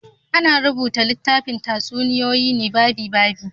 Ana rubuta littafin tatsuniyoyi ne babi-babi.